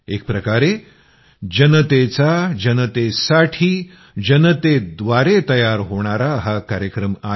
एक प्रकारे जनतेचा जनतेसाठी जनतेव्दारे तयार होणारा हा कार्यक्रम आहे